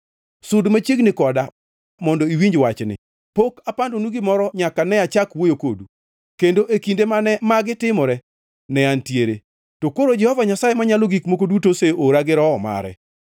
“Sud machiegni koda mondo iwinj wachni: “Pok apandonu gimoro nyaka ne achak wuoyo kodu; kendo e kinde mane magi timore, ne antie.” To koro Jehova Nyasaye Manyalo Gik Moko Duto oseora, gi Roho mare.